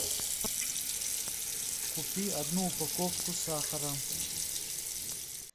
купи одну упаковку сахара